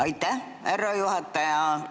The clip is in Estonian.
Aitäh, härra juhataja!